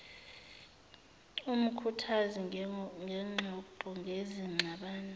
umkhuthazi ngxoxo ngezingxabano